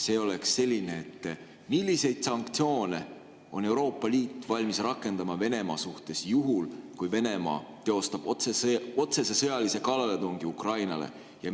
See küsimus on selline: milliseid sanktsioone on Euroopa Liit valmis rakendama Venemaa suhtes juhul, kui Venemaa teostab otsese sõjalise kallaletungi Ukrainale?